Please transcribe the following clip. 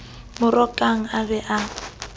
mo rokang a be a